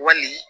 Wali